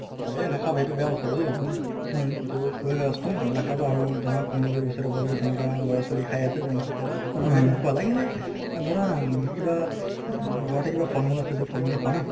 হয় এহ নাখাব এইটো বেয়া বস্তু বুজিলা এইটো শৰিৰ নস্ত আৰু ধৰা কোনোবা আৰু ওচৰে পাজৰে তেনেকুৱা লৰা ছোৱালি খাই আছে তেওঁলোকক কবা লাগিলে ধৰা কিবা উম ঘৰতে কিবা ফল মুল আছে যদি ফল মুলে খুৱা ন